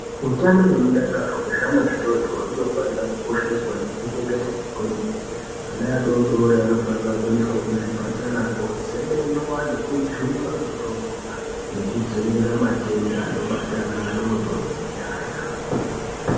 Utano nemudakaro wezvana zvidoko unofana kukosheswa nekuchengetedzwa kwemene .Ana adodori anofana kuendeswa kuzvipatara kozemenwa nekujungwa mutombo kudzivirira matenda anobate ana adodori kunyanya.